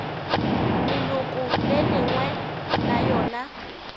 leloko le lengwe la yona